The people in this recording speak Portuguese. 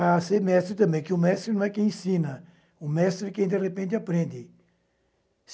a ser mestre também, que o mestre não é quem ensina, o mestre é quem, de repente, aprende.